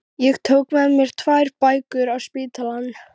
Ég tók með mér tvær bækur á spítalann